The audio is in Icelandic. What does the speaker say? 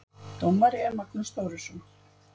Dómari er Magnús Þórisson.